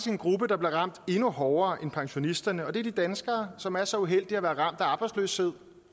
en gruppe der bliver ramt endnu hårdere end pensionisterne og det er de danskere som er så uheldige at være ramt af arbejdsløshed